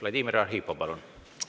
Vladimir Arhipov, palun!